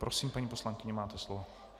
Prosím, paní poslankyně, máte slovo.